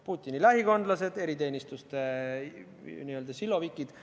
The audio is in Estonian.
Putini lähikondlased, eriteenistuste silovikid.